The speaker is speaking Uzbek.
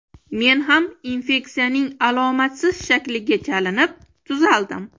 Men ham infeksiyaning alomatsiz shakliga chalinib, tuzaldim.